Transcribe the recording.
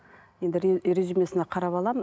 енді резюмесіне қарап аламын